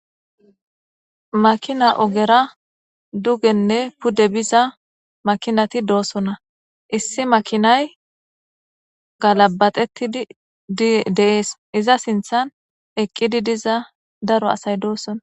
makina ogera dugenne pudde biza makinati doosona issi makinay galabatetid dideees iza sinthan eqqidi diza daro asay doosona